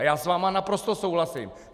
A já s vámi naprosto souhlasím.